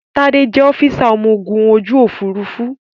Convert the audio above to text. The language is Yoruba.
Tádé jẹ́ ọ́físà ọmọ ogun ojú Òfurufú